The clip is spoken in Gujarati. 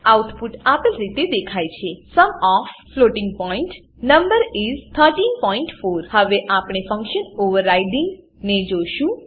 આઉટપુટ આ રીતે દેખાય છે sum of floating point numbers is 134 હવે આપણે ફંકશન ઓવરરાઇડિંગ ફંક્શન ઓવરરાઈડીંગ જોશું